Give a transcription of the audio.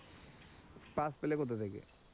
pass পেলে কোথা থেকে?